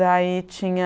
Daí, tinha...